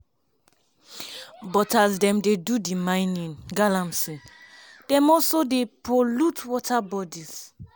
but as dem dey do di mining (galamsey) dem also dey pollute water bodies.